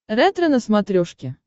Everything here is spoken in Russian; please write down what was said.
ретро на смотрешке